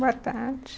Boa tarde.